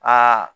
Aa